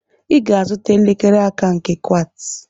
I ga-azụta elekere aka nke Quartz.